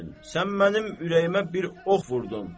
Sən mənim ürəyimə bir ox vurdun.